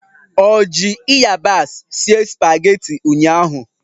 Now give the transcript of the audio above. Ọ ji ịyabasị sie spageti ụnyaahụ?